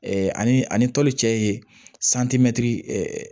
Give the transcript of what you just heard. ani a ni tɔli cɛ ye